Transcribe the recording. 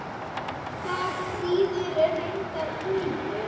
Það þýðir reiður úlfur.